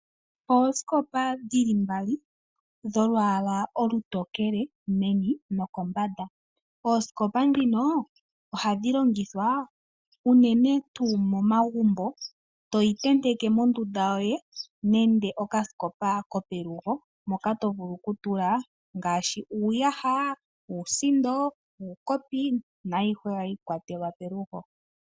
Oosikopa dhili mbali dho lwala olutokele meni noko mbanda. Oosikopa ndhino ohadhi longithwa unene momagumbo toyi tenteke mondunda yoye nenge okasikopa kopelugo moka tovulu okutula ngaashi uuyaha, uusindo, uukopi naikwawo hayi kwatelwa pelugo.